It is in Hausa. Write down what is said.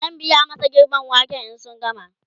zan biya masu girben waken in sun gama